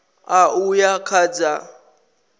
ṋ a uya kha dza